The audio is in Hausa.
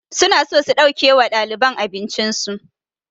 Su na so su ɗauke wa ɗaliban abincin su